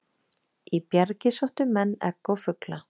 Í bjargið sóttu menn egg og fugla.